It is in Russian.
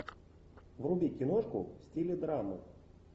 вруби киношку в стиле драмы